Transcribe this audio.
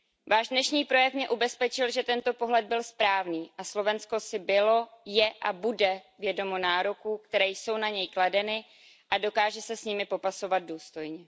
Váš dnešní projev mě ubezpečil, že tento pohled byl správný a Slovensko si bylo, je a bude vědomo nároků, které jsou na něj kladeny, a dokáže se s nimi popasovat důstojně.